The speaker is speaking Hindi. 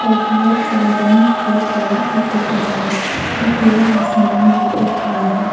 और बहुत सारे रंग की कार भी दिख रहा है और खुला आसमान भी दिख रहा है।